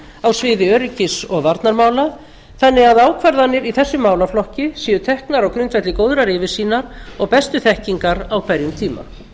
á sviði öryggis og varnarmála þannig að ákvarðanir í þessum málaflokki séu teknar á grundvelli góðrar yfirsýnar og bestu þekkingar á hverjum tíma